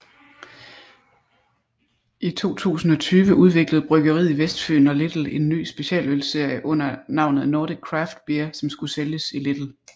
I 2020 udviklede Bryggeriet Vestfyen og Lidl en ny specialølsserie under navnet Nordic Craft Beer som skulle sælges i Lidl